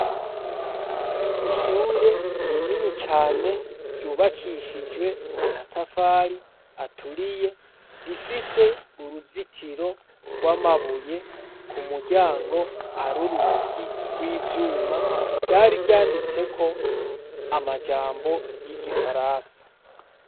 Ishure rinini cane ryubakishijwe amatafari aturiye rifise uruzitiro rw'amabuye ku muryango ari urugi rw'ivyuma ryari ryanditseko amajambo y'igifaransa.